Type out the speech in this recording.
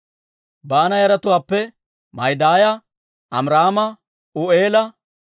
Baana yaratuwaappe Ma'idaaya, Amiraama, U'eela,